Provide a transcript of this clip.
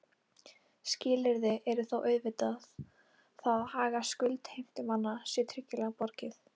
Skilyrði er þó auðvitað það að hag skuldheimtumanna sé tryggilega borgið.